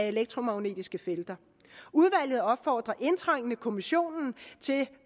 elektromagnetiske felter udvalget opfordrer indtrængende kommissionen til